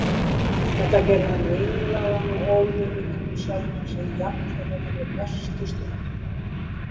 Þetta gerði hann ringlaðan og óöruggan um sjálfan sig, jafnvel á þeirra bestu stundum.